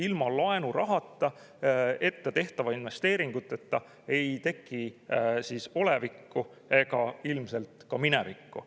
Ilma laenurahata, ettetehtavate investeeringuteta ei teki olevikku ega ilmselt ka minevikku.